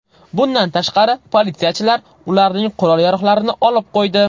Bundan tashqari, politsiyachilar ularning qurol-yarog‘larini olib qo‘ydi.